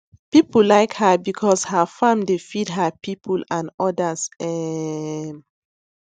people like her because her farm dey feed her people and others um